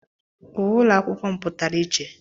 Uwe ụlọ akwụkwọ m pụtara iche.